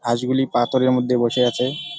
হাঁসগুলি পাথরের মধ্যে বসে আছে ।